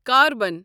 carbon